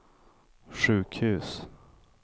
sjukhus